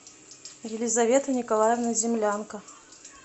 елизавета николаевна землянко